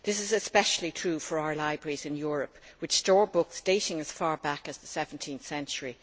This is especially true for our libraries in Europe, which store books dating as far back as the 17th century.